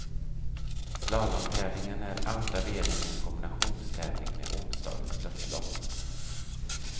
Slalomtävlingen är andra delen i en kombinationstävling med onsdagens störtlopp.